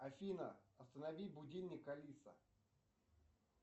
афина останови будильник алиса